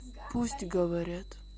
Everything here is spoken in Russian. пусть говорят